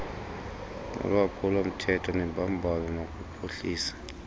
nolwaphulomthetho nembambano nokuphuhlisa